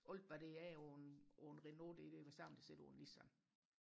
alt hvad der er på en på en Renault det er det samme der sidder på en Nissan